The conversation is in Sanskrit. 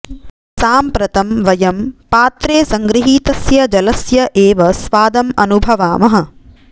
साम्प्रतं वयं पात्रे संगृहीतस्य जलस्य एव स्वादम् अनुभवामः